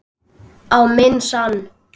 Á minn sann!